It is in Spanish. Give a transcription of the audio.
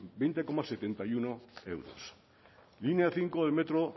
veinte coma setenta y uno euros línea cinco del metro